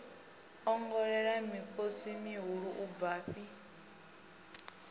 ongolela mikosi mihulu u bvafhi